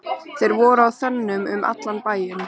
Þeir voru á þönum um allan bæinn.